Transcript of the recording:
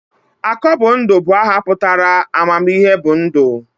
Akọbundụ bụ aha pụtara 'amamihe bụ ndụ'